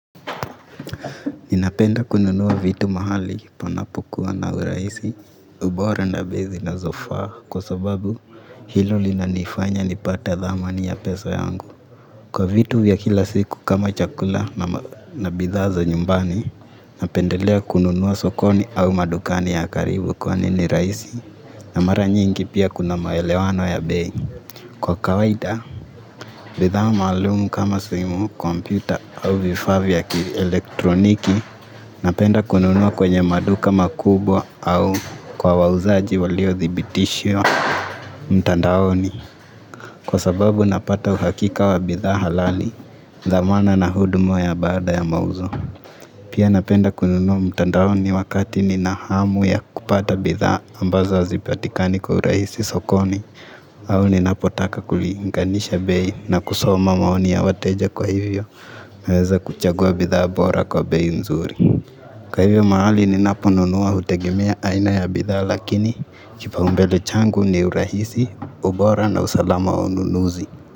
Ninapenda kununua vitu mahali panapokuwa na urahisi, ubora na bei zinazofaa kwa sababu hilo linanifanya nipate thamani ya pesa yangu. Kwa vitu vya kila siku kama chakula na bidhaa za nyumbani, napendelea kununua sokoni au madukani ya karibu kwani ni rahisi na mara nyingi pia kuna maelewano ya bei. Kwa kawaida, bidhaa maalumu kama simu, kompyuta au vifaa vya kielektroniki, napenda kununua kwenye maduka makubwa au kwa wauzaji waliothibitishwa. Mtandaoni, kwa sababu napata uhakika wa bidhaa halali, dhamana na huduma ya baada ya mauzo. Pia napenda kununua mtandaoni wakati nina hamu ya kupata bidhaa ambazo hazipatikani kwa urahisi sokoni au ninapotaka kulinganisha bei na kusoma maoni ya wateja kwa hivyo naweza kuchagua bidhaa bora kwa bei nzuri. Kwa hivyo mahali ninaponunua hutegemea aina ya bidhaa, lakini kipaumbele changu ni urahisi, ubora na usalama wa ununuzi.